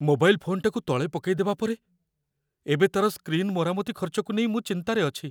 Mobile ଫୋନ୍‌ଟାକୁ ତଳେ ପକାଇଦେବା ପରେ, ଏବେ ତା'ର ସ୍କ୍ରିନ୍ ମରାମତି ଖର୍ଚ୍ଚକୁ ନେଇ ମୁଁ ଚିନ୍ତାରେ ଅଛି।